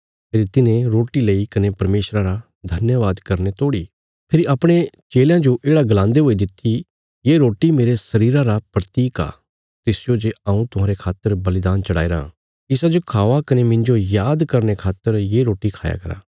फेरी तिन्हे रोटी लेई कने परमेशरा रा धन्यवाद करीने तोड़ी फेरी अपणे चेलयां जो येढ़ा गलांदे हुयां दित्ति ये रोटी मेरे शरीरा रा प्रतीक आ तिसजो जे हऊँ तुहांरे खातर बलिदान चढ़ाईराँ इसाजो खावा कने मिन्जो याद करने खातर ये रोटी खाया करा